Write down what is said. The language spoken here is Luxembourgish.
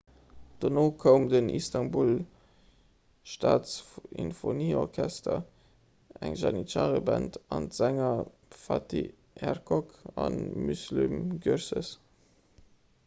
dono koum den istanbul staatssinfonieorchester eng janitschare-band an d'sänger fatih erkoç a müslüm gürses